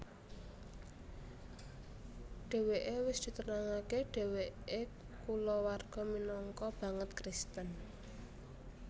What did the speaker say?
Dheweke wis diterangake dheweke kulawarga minangka banget Kristen